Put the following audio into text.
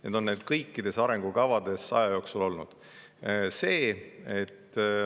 Need on kõikides arengukavades aja jooksul olnud.